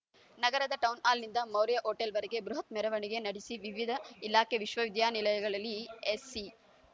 ನಗರದ ಟೌನ್‌ಹಾಲ್‌ನಿಂದ ಮೌರ್ಯ ಹೋಟೆಲ್‌ವರೆಗೆ ಬೃಹತ್ ಮೆರವಣಿಗೆ ನಡೆಸಿ ವಿವಿಧ ಇಲಾಖೆ ವಿಶ್ವವಿದ್ಯಾನಿಲಯಗಳಲ್ಲಿ ಎಸ್‌ಸಿ